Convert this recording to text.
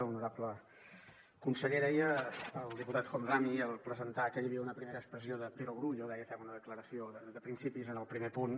honorable conseller deia el diputat homrani al presentar que hi havia una primera expressió de perogrullo deia fent una decla·ració de principis en el primer punt